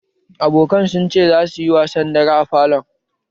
Abokan sun ce za suyi wasan dare a falo